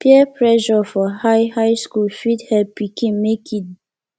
peer pressure for high high school fit help pikin make e